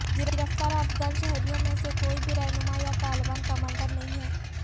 گرفتار افغان شہریوں میں سے کوئی بھی رہنماء یا طالبان کمانڈر نہیں ہے